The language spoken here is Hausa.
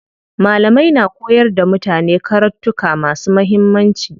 Malamai na koyar da mutane karattuka masu muhimmanci.